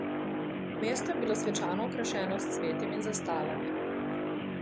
Mesto je bilo svečano okrašeno s cvetjem in zastavami.